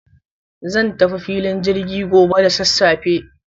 zan tafi filin jirgi gobe da sassafe.